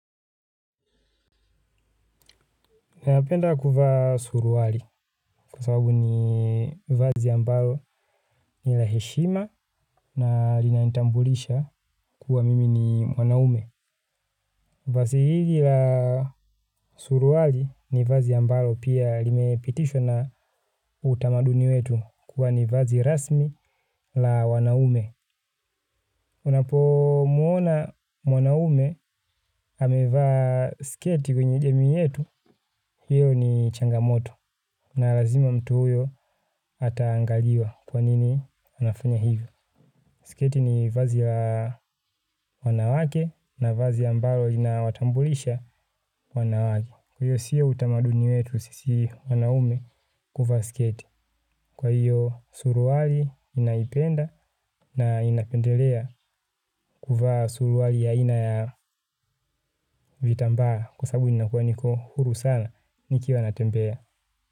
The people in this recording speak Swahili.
Napenda kuvaa suruali kwa sababu ni vazi ambalo ni la heshima na linanitambulisha kuwa mimi ni mwanaume. Vazi hili la suruali ni vazi ambalo pia limepitishwa na utamaduni wetu kuwa ni vazi rasmi la wanaume. Unapo muona mwanaume amevaa sketi kwenye jamii yetu, hiyo ni changamoto na lazima mtu huyo ataangaliwa kwanini anafanya hivyo. Sketi ni vazi ya wanawake na vazi ambalo linawatambulisha wanawake. Kwa hiyo sio utamaduni wetu sisi wanaume kuvaa sketi. Kwa hiyo suruali ninaipenda na inapendelea kuvaa suruali ya ina ya vitambaa kwa sababu inakuwa niko huru sana nikiwa natembea.